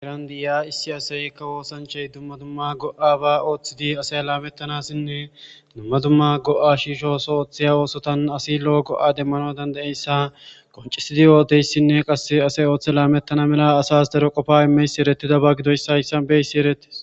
Erandi7iya issi aseykka woosanchay dumma dumma go7a ba ooththidi asay laamettanassinne dumma dumma go7a shiisho so ooththiya oosotan asi lo7o go7a demmano dandayeyssa qoncisidi yooteyssinne qasse asay ooththe laamettana mela asas daro qofa imeysi eretida ba gidoyssa hayssa beysi erettis.